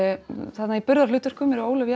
þarna í burðarhlutverkum eru Ólöf